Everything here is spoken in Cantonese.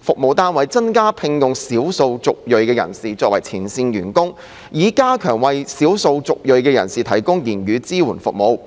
服務單位增加聘用少數族裔人士作為前線員工，以加強為少數族裔人士提供言語支援服務。